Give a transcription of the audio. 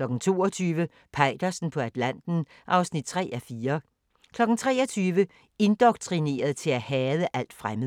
22:00: Peitersen på Atlanten (3:4) 23:00: Indoktrineret til at hade alt fremmed